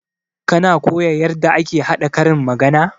Kana koya yarda ake haɗa karin magana?